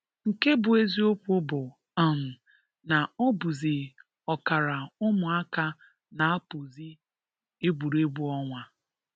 Nke bụ eziokwu bụ um na ọ bụzị ọkara ụmụaka na-apụzị egwuregwu ọnwa